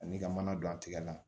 Ani ka mana don a tigɛ la